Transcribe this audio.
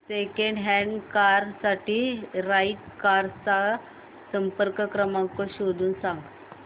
second hand car साठी right cars चा संपर्क क्रमांक शोधून सांग